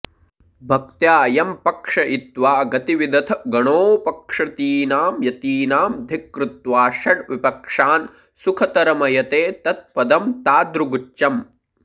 भक्त्या यं पक्षयित्वा गतिविदथ गणोऽपक्षतीनां यतीनां धिक्कृत्वा षड्विपक्षान् सुखतरमयते तत्पदं तादृगुच्चम्